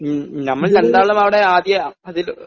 മ്മ് മ്മ് നമ്മള് രണ്ടാളും അവിടെ ആദ്യ അതില്